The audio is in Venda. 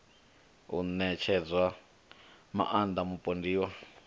u ṋetshedza maaṋda mupondiwa a